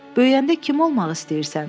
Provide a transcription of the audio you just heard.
Böyüyəndə kim olmaq istəyirsən?